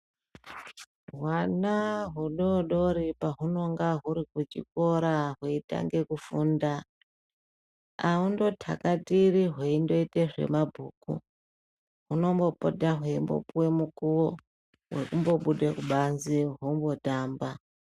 Hwana hudoodori pahunenge huri kuchikora hweitange kufunda ahungotakatiri hweindoita zvemabhuku hunombopota hweipuwa mukuwo wekumbobuda kubanze hombotamba.